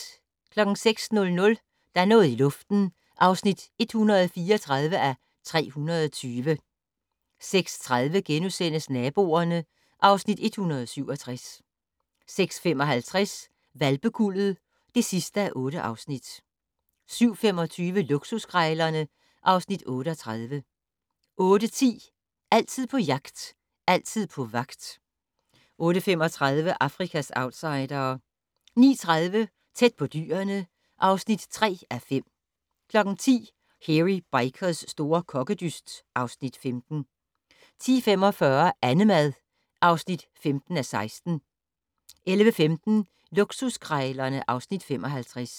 06:00: Der er noget i luften (134:320) 06:30: Naboerne (Afs. 167)* 06:55: Hvalpekuldet (8:8) 07:25: Luksuskrejlerne (Afs. 38) 08:10: Altid på jagt, altid på vagt 08:35: Afrikas outsidere 09:30: Tæt på dyrene (3:5) 10:00: Hairy Bikers' store kokkedyst (Afs. 15) 10:45: Annemad (15:16) 11:15: Luksuskrejlerne (Afs. 55)